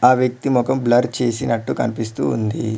ఆ వ్యక్తి మొఖం బ్లర్ చేసినట్టు కనిపిస్తూ ఉంది.